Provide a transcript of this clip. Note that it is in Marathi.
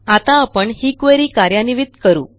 आता आपण ही क्वेरी कार्यान्वित करू